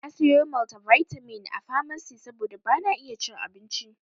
Na sayo maltivitamin a famasi saboda bana iya cin abincin.